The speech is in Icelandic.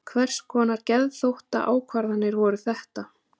Hvers konar geðþóttaákvarðanir voru þetta?